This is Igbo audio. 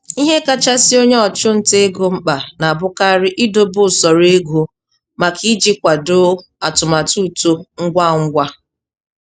Ihe kachasị onye ọchụnta ego mkpa na-abụkarị idobe usoro ego maka iji kwado atụmatụ uto ngwa ngwa.